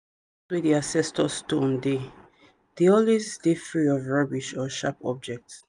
wey the ancestor stone dey dey always dey free of rubbish or sharp objects.